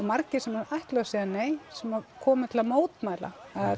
margir sem ætluðu að segja nei sem komu til að mótmæla